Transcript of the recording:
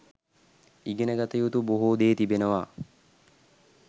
ඉගෙන ගත යුතු බොහෝ දේ තිබෙනවා